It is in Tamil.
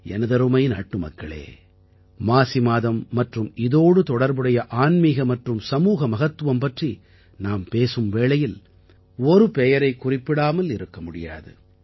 எனதருமை நாட்டுமக்களே மாசி மாதம் மற்றும் இதோடு தொடர்புடைய ஆன்மீக மற்றும் சமூக மகத்துவம் பற்றி நாம் பேசும் வேளையில் ஒரு பெயரைக் குறிப்பிடாமல் இருக்க முடியாது